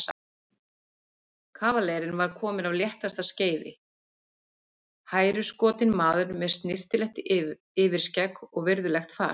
Kavalerinn var kominn af léttasta skeiði, hæruskotinn maður með snyrtilegt yfirskegg og virðulegt fas.